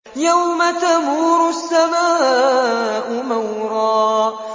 يَوْمَ تَمُورُ السَّمَاءُ مَوْرًا